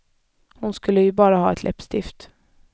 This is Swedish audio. Hon skulle ju bara ha ett läppstift.